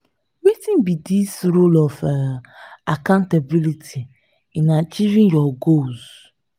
wetin be di role of um accountability in achieving your goals?